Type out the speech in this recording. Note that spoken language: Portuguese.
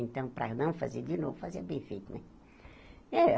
Então, para não fazer de novo, fazia bem feito né. Eh